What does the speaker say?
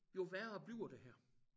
Jo værre bliver det her